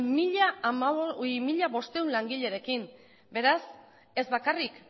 mila bostehun langilerekin beraz ez bakarrik